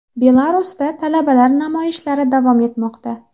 Belarusda talabalar namoyishlari davom etmoqda.